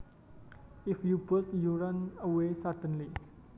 If you bolt you run away suddenly